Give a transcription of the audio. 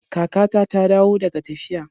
Kakata ta dawo daga tafiya.